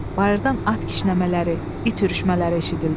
Bayırdan at kişnəmələri, it hürüşmələri eşidildi.